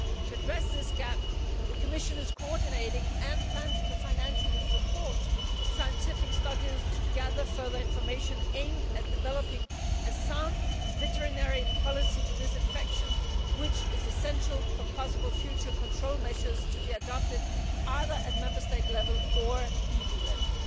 To address this gap, the Commission is co ordinating and plans to financially support scientific studies to gather further information aimed at developing a sound veterinary policy for this infection, which is essential for possible future control measures to be adopted either at Member State level or EU level.